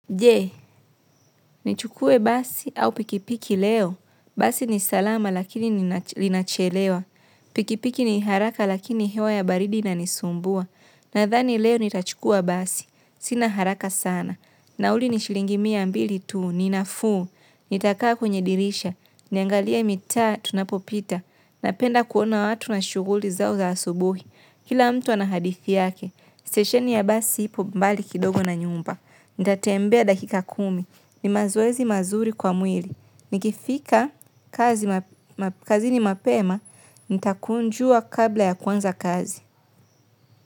Je, nichukue basi au pikipiki leo. Basi ni salama lakini linachelewa piki piki ni haraka lakini hewa baridi inanisumbua. Nadhani leo nitachukua basi. Sina haraka sana. Na uli nishilingimia mbili tuu, ninafuu. Nitakaa kwenye dirisha. Niangalie mitaa, tunapopita. Napenda kuona watu na shughuli zao za asubuhi. Kila mtu anahadithi yake, stesheni ya basi ipo mbali kidogo na nyumba. Nitatembea dakika kumi, ni mazoezi mazuri kwa mwili. Nikifika kazi ni mapema, nitakunjua kabla ya kuanza kazi.